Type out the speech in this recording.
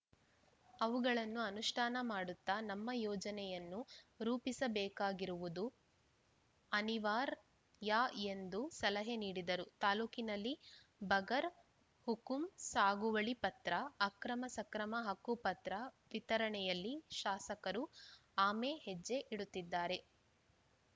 ಅವುಗಳನ್ನು ಅನುಷ್ಠಾನ ಮಾಡುತ್ತಾ ನಮ್ಮ ಯೋಜನೆಯನ್ನು ರೂಪಿಸಬೇಕಾಗಿರುವುದು ಅನಿವಾರ್ ಯ ಎಂದು ಸಲಹೆ ನೀಡಿದರು ತಾಲೂಕಿನಲ್ಲಿ ಬಗರ್‌ ಹುಕುಂ ಸಾಗುವಳಿ ಪತ್ರ ಅಕ್ರಮ ಸಕ್ರಮ ಹಕ್ಕುಪತ್ರ ವಿತರಣೆಯಲ್ಲಿ ಶಾಸಕರು ಆಮೆ ಹೆಜ್ಜೆ ಇಡುತ್ತಿದ್ದಾರೆ